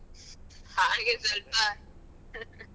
ಹಾಗೆ ಸ್ವಲ್ಪ